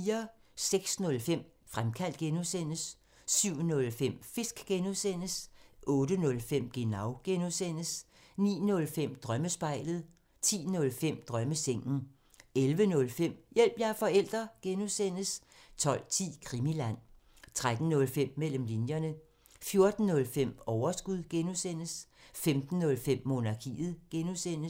06:05: Fremkaldt (G) 07:05: Fisk (G) 08:05: Genau (G) 09:05: Drømmespejlet 10:05: Drømmesengen 11:05: Hjælp – jeg er forælder! (G) 12:10: Krimiland 13:05: Mellem linjerne 14:05: Overskud (G) 15:05: Monarkiet (G)